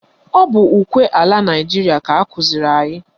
Ọ bụ ukwe ala Naịjiria ka akụziri anyị